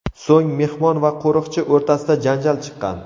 So‘ng mehmon va qo‘riqchi o‘rtasida janjal chiqqan.